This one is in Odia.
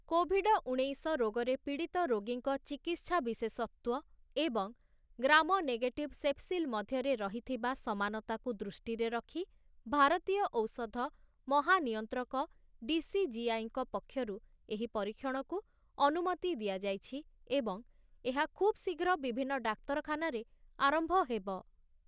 କୋଭିଡ ଉଣେଇଶ ରୋଗରେ ପୀଡ଼ିତ ରୋଗୀଙ୍କ ଚିକିତ୍ସା ବିଶେଷତ୍ଵ ଏବଂ ଗ୍ରାମ ନେଗେଟିଭ ସେପ୍ସିଲ ମଧ୍ୟରେ ରହିଥିବା ସମାନତାକୁ ଦୃଷ୍ଟିରେ ରଖି ଭାରତୀୟ ଔଷଧ ମହାନିୟନ୍ତ୍ରକ ଡିସିଜିଆଇ ଙ୍କ ପକ୍ଷରୁ ଏହି ପରୀକ୍ଷଣକୁ ଅନୁମତି ଦିଆଯାଇଛି ଏବଂ ଏହା ଖୁବଶୀଘ୍ର ବିଭିନ୍ନ ଡାକ୍ତରଖାନାରେ ଆରମ୍ଭ ହେବ ।